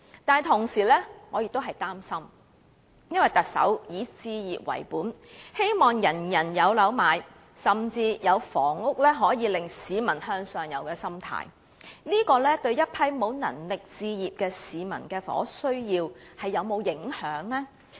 但是，同時，我也感到擔心，因為特首以置業為本，希望人人擁有物業，甚至抱持房屋可以令市民向上游的心態，這會否影響沒有能力置業的市民的房屋需要？